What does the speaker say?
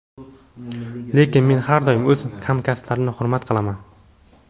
Lekin men har doim o‘z hamkasblarimni hurmat qilaman.